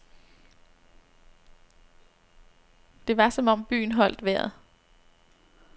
Det var som om byen holdt vejret.